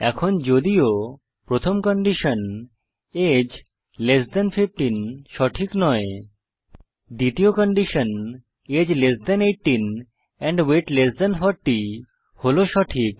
এখন যদিও প্রথম কন্ডিশন আগে লেস থান 15 সঠিক নয় দ্বিতীয় কন্ডিশন আগে less than 18 and weight less than 40 হল সঠিক